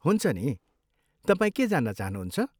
हुन्छ नि, तपाईँ के जान्न चाहनुहुन्छ?